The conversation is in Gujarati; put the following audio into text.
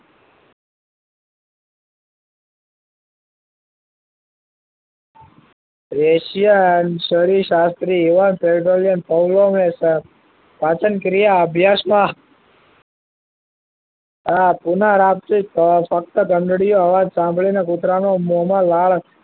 Asian શરીર શાહ્સ્ત્રી પાચન ક્રિયા અભ્યાસ માં આ પુના રામ થી ફક્ત ઘંટડી ઓ સાંભળી ને કુતરા ના મોમાં લાળ